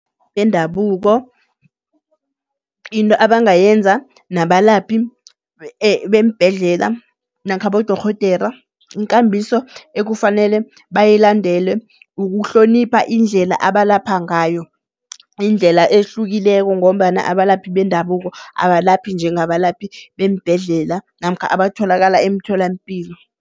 bendabuko into abangayenza nabalaphi beembhedlela namkha bodorhodera. Inkambiso ekufanele bayilandele ukuhlonipha indlela abalapha ngayo. Indlela ehlukileko ngombana abalaphi bendabuko abalaphi njengabalaphi beembhedlela namkha abatholakala emtholampilo.